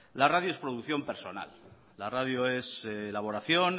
la radio es producción personal la radio es elaboración